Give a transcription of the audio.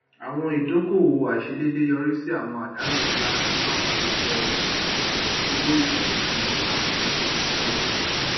àwọn idókòòwò àìsèdédé yọrí sí àwọn àdánù ńlá nínú apò iṣẹ owó ìfẹhìntì emma ní ọdún tó kọjá